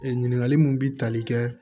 Ee ɲininkali mun bi tali kɛ